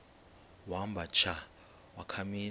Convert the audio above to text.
wamba tsha wakhamisa